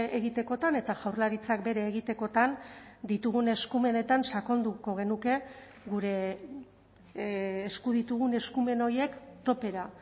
egitekotan eta jaurlaritzak bere egitekotan ditugun eskumenetan sakonduko genuke gure esku ditugun eskumen horiek topera